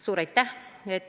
Suur aitäh!